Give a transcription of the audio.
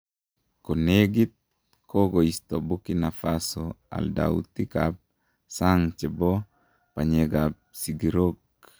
Ko negit, kokoisto Burkina Faso aldautikab sang che bo banyekab sigirok.